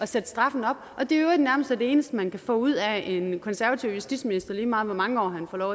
sætte straffene op og at det i øvrigt nærmest er det eneste man kan få ud af en konservativ justitsminister lige meget hvor mange år han får lov